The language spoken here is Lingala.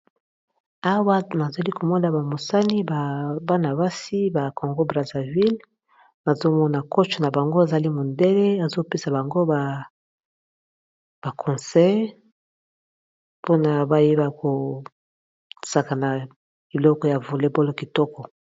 Haward azoli komona bamosani bana-basi ba congo braséville azomona koche na bango, azali mondele azopesa bango baconsey mpona bayeba kosaka na iloko ya volebolo kitoko.